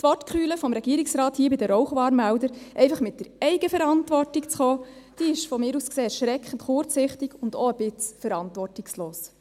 Die Argumentation des Regierungsrates, bei den Rauchwarnmeldern einfach auf die Eigenverantwortung hinzuweisen, ist aus meiner Sicht erschreckend kurzsichtig und auch ein bisschen verantwortungslos.